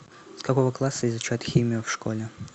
с какого класса изучают химию в школе